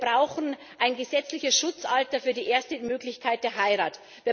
Wir brauchen ein gesetzliches Schutzalter für die erste Möglichkeit der Heirat.